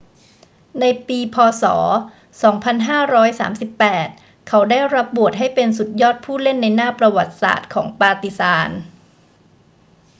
ในปี พ. ศ. 2538 เขาได้รับโหวตให้เป็นสุดยอดผู้เล่นในหน้าประวัติศาสตร์ของปาร์ติซาน